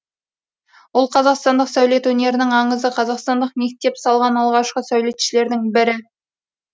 ол қазақстандық сәулет өнерінің аңызы қазақстандық мектеп салған алғашқы сәулетшілердің бірі